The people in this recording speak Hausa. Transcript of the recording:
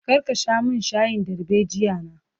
Kar ka sha min shayin darbejiya na!